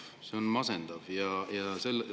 See on masendav!